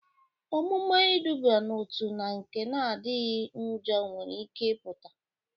Omume iduba n'otu na nke na-adịchaghị njọ nwere ike ịpụta.